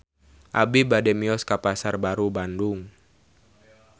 Abi bade mios ka Pasar Baru Bandung